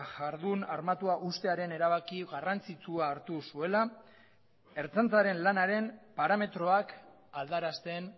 jardun armatua uztearen erabaki garrantzitsua hartu zuela ertzaintzaren lanaren parametroak aldarazten